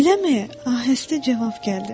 Eləmi, ahəstə cavab gəldi.